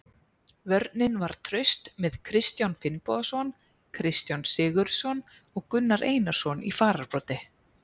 Vörnin var traust með Kristján Finnbogason, Kristján Sigurðsson og Gunnar Einarsson í fararbroddi.